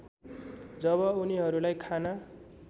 जब उनिहरूलाई खाना